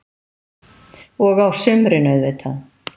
Og á sumrin, auðvitað.